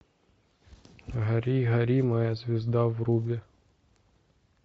гори гори моя звезда вруби